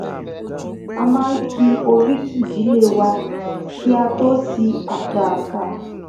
a maa n ki oriki ìdílé wa kí a tó sí àká àká